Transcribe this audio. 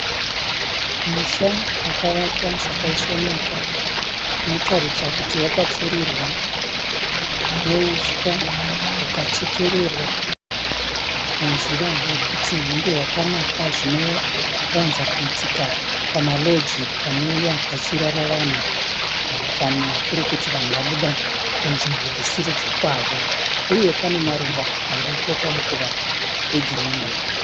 Musha wakavakwa zvakaisvonaka, unotaridza kuti wakapfirirwa neuswa hukachekererwa nenzira yekuti hunge hwakanaka, zvino wanza kuita pama loji panouya pachirara vanhu kana kuri kuti vanhu vabuda kunzvimbo dzisiri dzekwavo, uye pane maruva aripo pamukova egirini.